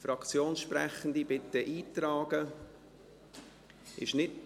Fraktionssprechende, bitte tragen Sie sich ein.